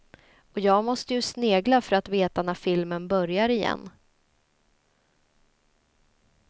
Och jag måste ju snegla för att veta när filmen börjar igen.